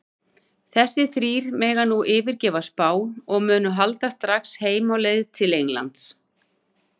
Þessir þrír mega nú yfirgefa Spán og munu halda strax heim á leið til Englands.